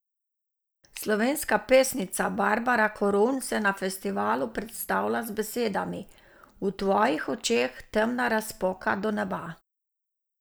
Slovenska pesnica Barbara Korun se na festivalu predstavlja z besedami: "V tvojih očeh temna razpoka do neba.